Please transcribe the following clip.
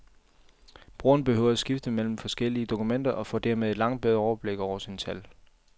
Brugeren behøve at skifte mellem forskellige dokumenter og får dermed et langt bedre overblik over sine tal.